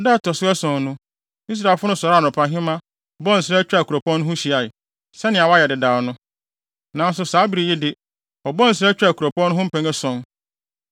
Da a ɛto so ason no, Israelfo no sɔree anɔpahema, bɔɔ nsra twaa kuropɔn no ho hyiae, sɛnea wɔayɛ dedaw no. Nanso, saa bere yi de, wɔbɔɔ nsra twaa kuropɔn no ho mpɛn ason.